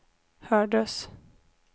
hördes